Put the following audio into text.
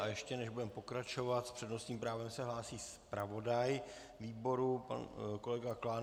A ještě než budeme pokračovat, s přednostním právem se hlásí zpravodaj výboru pan kolega Klán.